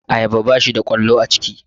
Ayaba bashi da ƙwallo a ciki